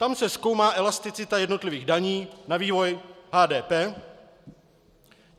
Tam se zkoumá elasticita jednotlivých daní na vývoj HDP.